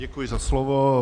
Děkuji za slovo.